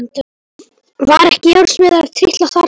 Var ekki járnsmiður að trítla þarna?